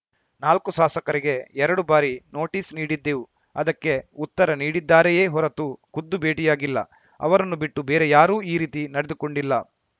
ನಾಲ್ಕೂ ಸಾಸಕರಿಗೆ ಎರಡು ಬಾರಿ ನೋಟಿಸ್‌ ನೀಡಿದ್ದೆವು ಅದಕ್ಕೆ ಉತ್ತರ ನೀಡಿದ್ದಾರೆಯೇ ಹೊರತು ಖುದ್ದು ಭೇಟಿಯಾಗಿಲ್ಲ ಅವರನ್ನು ಬಿಟ್ಟು ಬೇರೆ ಯಾರೂ ಈ ರೀತಿ ನಡೆದುಕೊಂಡಿಲ್ಲ